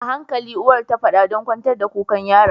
Ahankali uwar tafada ɗan kwantar da kukan yaron